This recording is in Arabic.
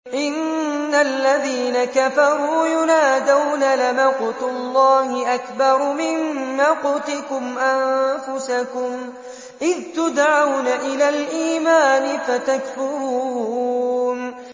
إِنَّ الَّذِينَ كَفَرُوا يُنَادَوْنَ لَمَقْتُ اللَّهِ أَكْبَرُ مِن مَّقْتِكُمْ أَنفُسَكُمْ إِذْ تُدْعَوْنَ إِلَى الْإِيمَانِ فَتَكْفُرُونَ